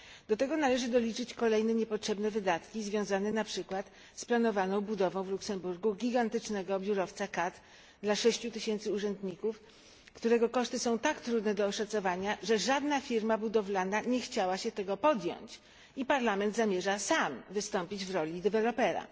Do tego należy doliczyć kolejne niepotrzebne wydatki związane np. z planowaną budową w Luksemburgu gigantycznego biurowca KAD dla 6 tysięcy urzędników, którego koszty są tak trudne do oszacowania, że żadna firma budowlana nie chciała się tego podjąć i Parlament zamierza sam wystąpić w roli dewelopera.